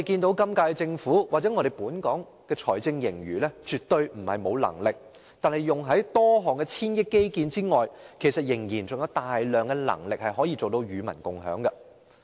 以本屆政府或本港的財政盈餘而言，除用在多項千億元基建外，其實仍然有大量盈餘可以與民共享。